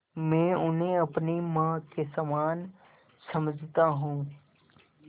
मैं उन्हें अपनी माँ के समान समझता हूँ